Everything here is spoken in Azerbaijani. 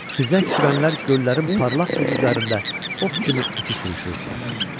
Xizək sürənlər göllərin parlaq buzu üzərində ox kimi iti sürüşürdülər.